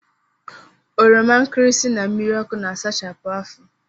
Oromankirisi na mmiriọkụ na-asachapụ afọ